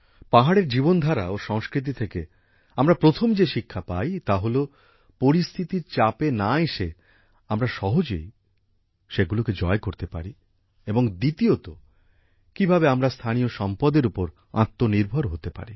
পাহাড়ের জীবনধারা ও সংস্কৃতি থেকে আমরা প্রথম যে শিক্ষা পাই তা হলো পরিস্থিতির চাপে না এসে আমরা সহজেই সেগুলোকে জয় করতে পারি এবং দ্বিতীয়ত কীভাবে আমরা স্থানীয় সম্পদের ওপর আত্মনির্ভর হতে পারি